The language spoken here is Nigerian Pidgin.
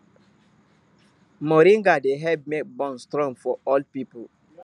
moringa dey help make bone strong for old people